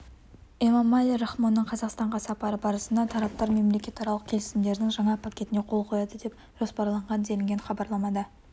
эмомали рахмонның қазақстанға сапары барысында тараптар мемлекетаралық келісімдердің жаңа пакетіне қол қояды деп жоспарланған делінген хабарламада